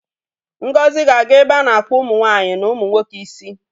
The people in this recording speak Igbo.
Ngozi ga-aga ebe a na-akpụ ụmụ nwanyị na ụmụ nwoke isi